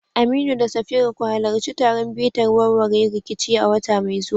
Aminu da Safira, ku halarci taron bitar warware rikici a wata mai zuwa